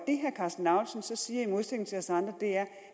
karsten lauritzen så siger i modsætning til os andre er